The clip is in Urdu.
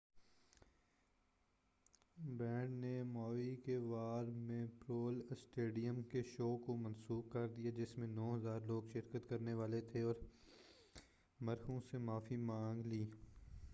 بینڈ نے ماؤی کے وار میموریل اسٹیڈیم کے شو کو منسوخ کردیا، جس میں 9،000 لوگ شرکت کرنے والے تھے، اور مداحوں سے معافی مانگ لی۔